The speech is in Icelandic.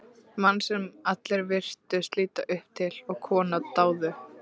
Mann sem allir virtust líta upp til, og konur dáðu.